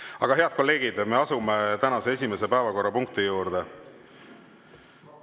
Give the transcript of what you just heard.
Aga, head kolleegid, me asume tänase esimese päevakorrapunkti juurde.